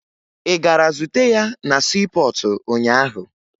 Ị gara zute ya na siipọọtụ ụnyaahụ?